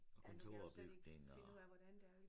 Ja nu kan jeg jo slet ikke finde ud af hvordan det er